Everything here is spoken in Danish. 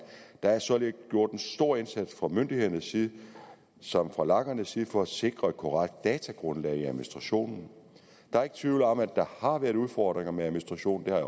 der er således gjort en stor indsats fra myndighedernes side som fra lagernes side for at sikre et korrekt datagrundlag i administrationen der er ikke tvivl om at der har været udfordringer med administrationen